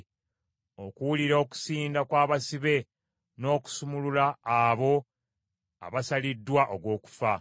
okuwulira okusinda kw’abasibe, n’okusumulula abo abasaliddwa ogw’okufa.